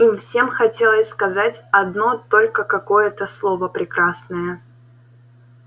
им всем хотелось сказать одно только какое-то слово прекрасное